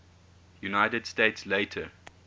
united states later